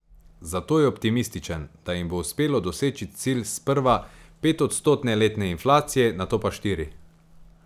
Zato je optimističen, da jim bo uspelo doseči cilj sprva petodstotne letne inflacije, nato pa štiri.